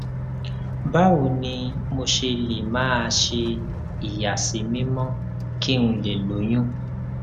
báwo ni mo ṣe lè máa ṣe ìyàsímímọ́ kí n lè lóyún